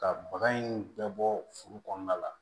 Ka baga in bɛɛ bɔ foro kɔnɔna la